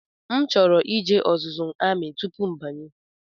M chọrọ ije ọzụzụ ndị amị tupu mbanye